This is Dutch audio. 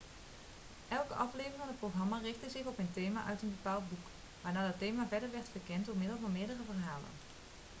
elke aflevering van het programma richtte zich op een thema uit een bepaald boek waarna dat thema verder werd verkend door middel van meerdere verhalen